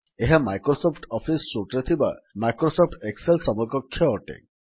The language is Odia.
ଏହା ମାଇକ୍ରୋସଫ୍ଟ ଅଫିସ୍ ସୁଟ୍ ରେ ଥିବା ମାଇକ୍ରୋସଫ୍ଟ ଏକ୍ସେଲ୍ ସମକକ୍ଷ ଅଟେ